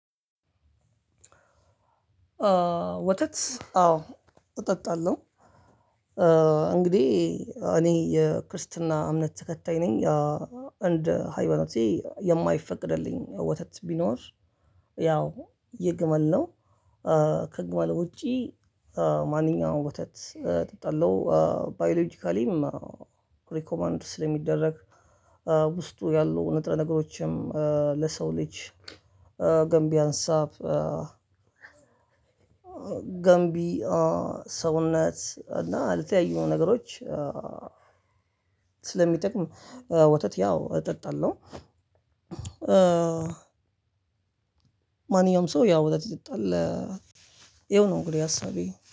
ወተት አዎ እጠጣለሁ። እንግዲህ እኔ የክርስትና እምነት ተከታይ ነኝ። እንደ ሃይማኖቴ የማይፈቅድልኝ ወተት ቢኖር። ያው የግመል ነው። ከግመል ውጪ። ማንኛውም ወተት እጠጣላው። ባዮሎጂካልይ ሪኮመንድ ስለ ሚደረግ። ውስጥ ያለው ንጥረ ነገሮችን ለሰው ልጅ ገንቢ ሀሳብ። ገንቢ ሰውነት እና አልተያዩም ነገሮች። ስለሚጠቅም ወተት ያው እጠጣለሁ። ማንኛውም ሰው ያው ወተት ይጠጣል። ያ ነው እንግዲህ አስቤ